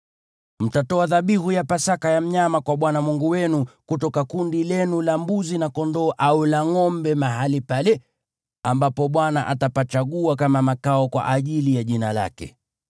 Mtatoa dhabihu ya Pasaka ya mnyama kwa Bwana Mungu wenu kutoka kundi lenu la mbuzi na kondoo au la ngʼombe, mahali pale ambapo Bwana atapachagua kama makao kwa ajili ya Jina lake.